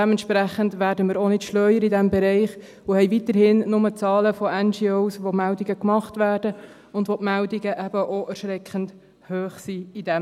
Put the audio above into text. Dementsprechend werden wir in diesem Bereich auch nicht schlauer und haben weiterhin lediglich Zahlen von NGOs, bei denen Meldungen gemacht werden und deren Meldungen in diesem Bereich eben auch erschreckend hoch sind.